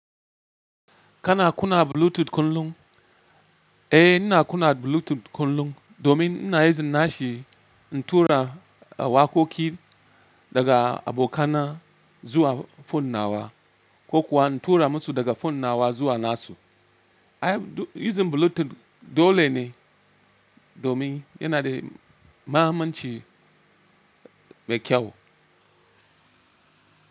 Kana kuna Bluetooth kullum? Eh, ina kuna Bluetooth kullum domin ina using nashi in tura wakoki daga abokana zuwa fonnawa ko kuwa in tura musu daga fonnawa zuwa nasu. I have using Bluetooth dole ne domin yana da mahimmanci mai kyau.